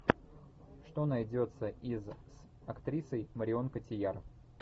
что найдется из с актрисой марион котийяр